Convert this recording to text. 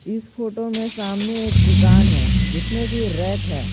इस फोटो में सामने एक दुकान है जिसमें की रैक है।